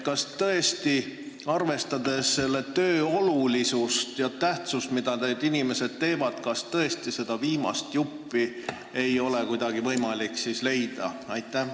Kas arvestades selle töö tähtsust, mida need inimesed teevad, ei ole tõesti kuidagi võimalik seda viimast juppi leida?